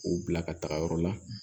K'u bila ka taga yɔrɔ la